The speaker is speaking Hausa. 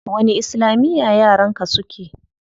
Wani islamiya yaran ka suke?